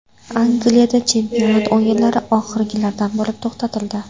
Angliyada chempionat o‘yinlari oxirgilardan bo‘lib to‘xtatildi.